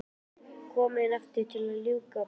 Komin aftur til að ljúka prófunum.